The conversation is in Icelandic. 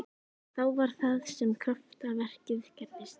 En þá var það sem kraftaverkið gerðist.